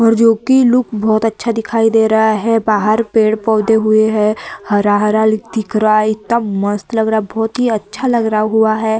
और जो कि लुक बोहोत अच्छा दिखाई दे रहा है। बाहर पेड़-पौधे हुए हैं। हरा-हरा लिक दिख रहा है। इतना मस्त लग रहा है। बोहोत ही अच्छा लग रहा हुआ है।